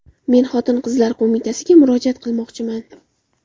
Men Xotin-qizlar qo‘mitasiga murojaat qilmoqchiman.